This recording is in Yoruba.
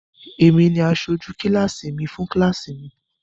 Èmi ni asojú kíláásì mi fún kíláásì mi.